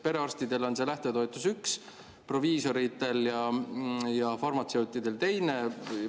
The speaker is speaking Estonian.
Perearstidel on üks lähtetoetus, proviisoritel ja farmatseutidel teine.